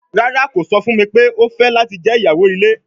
Rara, ko sọ fun mi pe o fẹ lati jẹ iyawo ile